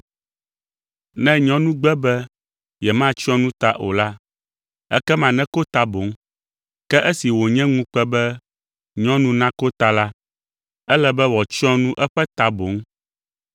Ne nyɔnu gbe be yematsyɔ nu ta o la, ekema neko ta boŋ. Ke esi wònye ŋukpe be nyɔnu nako ta la, ele be wòatsyɔ nu eƒe ta boŋ.